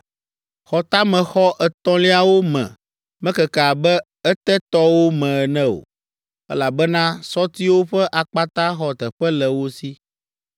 Xɔtamexɔ etɔ̃liawo me mekeke abe etetɔwo me ene o, elabena sɔtiwo ƒe akpata xɔ teƒe le wo si.